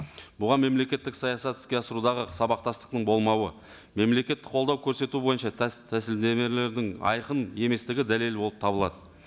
бұған мемлекеттік саясат іске асырудағы сабақтастықтың болмауы мемлекеттік қолдау көрсету бойынша тәсілдемелердің айқын еместігі дәлел болып табылады